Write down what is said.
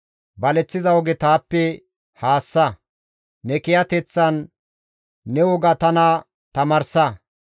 Baleththiza oge taappe haassa; ne kiyateththan ne woga tana tamaarsa.